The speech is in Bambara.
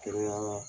Kɛrɛnkɛrɛn na